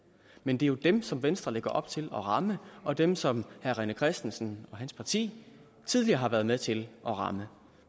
men det er jo dem som venstre lægger op til at ramme og dem som herre rené christensen og hans parti tidligere har været med til at ramme